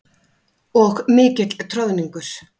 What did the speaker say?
Og mikill troðningur.